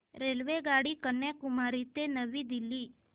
रेल्वेगाडी कन्याकुमारी ते नवी दिल्ली